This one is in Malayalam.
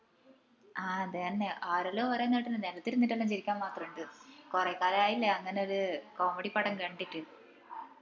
ആഹ് അതെന്നെ ആരെല്ലോ പറേന്ന കേട്ടിന് നിലത്തിരിന്നിട്ടെല്ലോം ചിരിക്കാൻ മാത്രം ഇണ്ട്ന്ന് കൊറേ കാലായില്ലേ അങ്ങനൊരു comedy പടം കണ്ടിട്ട്